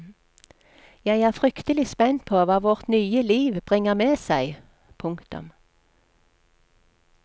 Jeg er fryktelig spent på hva vårt nye liv bringer med seg. punktum